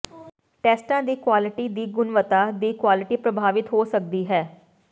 ਟੈਸਟਾਂ ਦੀ ਕੁਆਲਿਟੀ ਦੀ ਗੁਣਵੱਤਾ ਦੀ ਕੁਆਲਟੀ ਪ੍ਰਭਾਵਿਤ ਹੋ ਸਕਦੀ ਹੈ